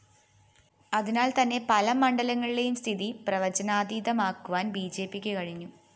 അതിനാല്‍ തന്നെ പല മണ്ഡലങ്ങളിലെയും സ്ഥിതി പ്രവചനാതീതമാക്കുവാന്‍ ബിജെപിക്ക് കഴിഞ്ഞു